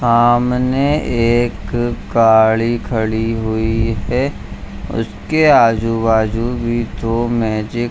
सामने एक गाड़ी खड़ी हुई है उसके आजू-बाजू भी तो मैजिक --